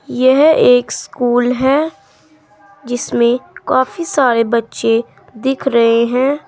यह एक स्कूल है जिसमें काफी सारे बच्चे दिख रहे हैं।